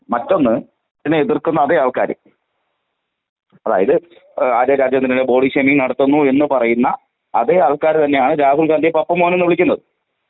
എന്നുള്ളത് മറ്റൊന്ന് ഇതിനെ എതിർക്കുന്ന അതേ ആൾക്കാര്.അതായത് ആര്യ രാജേന്ദ്രനെതിരെ ബോഡി ഷേയ്മിംഗ് നടത്തുന്നു എന്ന് പറയുന്ന അതേ ആൾക്കാര് തന്നെയാണ് രാഹുൽ ഗാന്ധിയെ പപ്പു മോൻ എന്ന് വിളിക്കുന്നത്.